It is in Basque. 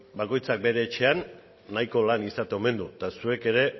bakoitzak bere etxean nahiko lan izaten omen du eta zuek ere